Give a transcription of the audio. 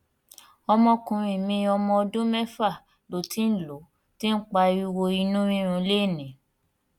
ọmọkùnrin mi ọmọ ọdún méfà ló ti ń ló ti ń pariwo inú rírun lénìí